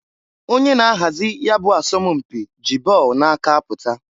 Onye na-ahazi ya bụ asọm mpị ji ball na-aka pụta.